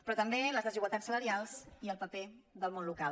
però també les desigualtats salarials i el paper del món local